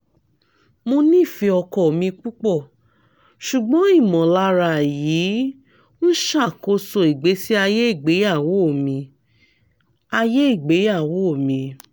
mo nifẹ ọkọ mi pupọ ṣugbọn imọlara yii n ṣakoso igbesi aye igbeyawo mi aye igbeyawo mi